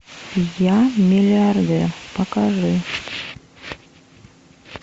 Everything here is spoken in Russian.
я миллиардер покажи